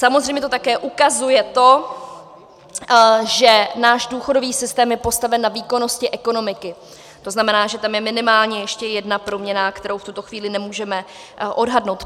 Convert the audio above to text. Samozřejmě to také ukazuje to, že náš důchodový systém je postaven na výkonnosti ekonomiky, to znamená, že tam je minimálně ještě jedna proměnná, kterou v tuto chvíli nemůžeme odhadnout.